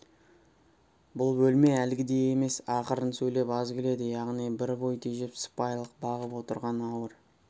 бұл бөлме әлгідей емес ақырын сөйлеп аз күледі ылғи бір бой тежеп сыпайылық бағып отырған ауыр